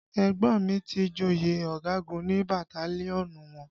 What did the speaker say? Ẹ̀gbọ́n mi ti joyè ọ̀gagun ní bataliọnú wọn